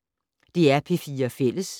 DR P4 Fælles